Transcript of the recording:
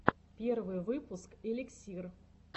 первый выпуск эликсир